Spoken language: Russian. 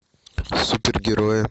супергерои